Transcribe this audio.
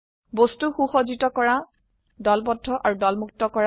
বস্তু সুসজ্জিত কৰা দলবদ্ধ আৰু দলমুক্ত কৰা